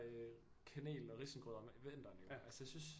Øh kanel og risengrød om vinteren altså jeg synes